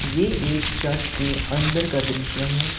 ये एक चर्च के अंदर का दृश्य है।